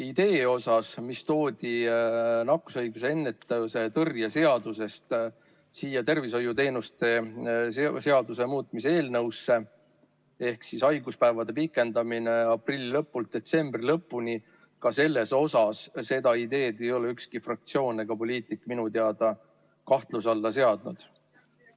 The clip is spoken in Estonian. Selles osas, mis toodi nakkushaiguste ennetamise ja tõrje seadusest siia tervishoiuteenuste korraldamise seaduse muutmise eelnõusse, ehk siis haiguspäevade pikendamine aprilli lõpust detsembri lõpuni, ka seda ideed ei ole ükski fraktsioon ega poliitik minu teada kahtluse alla seadnud.